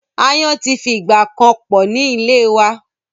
Aáyán ti fi ìgbà kan pọ̀ ní ìlé wa.